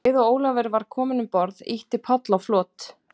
Um leið og Ólafur var kominn um borð, ýtti Páll á flot.